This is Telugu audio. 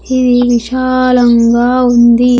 ఇది విశాలంగా ఉంది.